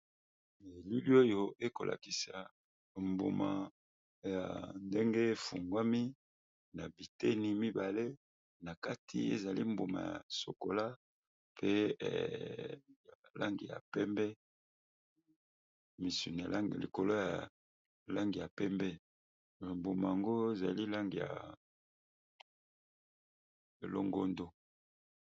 Elili oyo eko lakisa mbuma ndenge e fungwami na biteni mibale na kati ezali mbuma ya chocola pe langi ya pembe, misuni ya langi likolo ya langi ya pembe, mbuma yango ezali langi ya longondo .